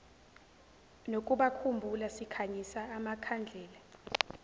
nokubakhumbula sikhanyisa amakhandlela